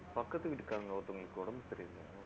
பக்கத்து வீட்டுக்காரங்க ஒருத்தவங்களுக்கு உடம்பு சரியில்லை